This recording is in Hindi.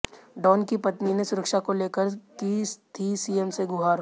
डॉन की पत्नी ने सुरक्षा को लेकर की थी सीएम से गुहार